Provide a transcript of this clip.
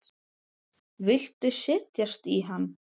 Viltu setjast í hann?